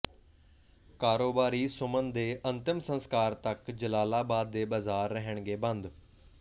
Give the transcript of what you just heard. ਕਾਰੋਬਾਰੀ ਸੁਮਨ ਦੇ ਅੰਤਿਮ ਸਸਕਾਰ ਤੱਕ ਜਲਾਲਾਬਾਦ ਦੇ ਬਾਜ਼ਾਰ ਰਹਿਣਗੇ ਬੰਦ